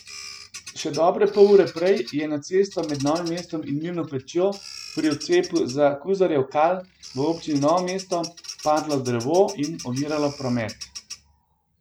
Še dobre pol ure prej je na cesto med Novim mestom in Mirno Pečjo, pri odcepu za Kuzarjev Kal v občini Novo mesto, padlo drevo in oviralo promet.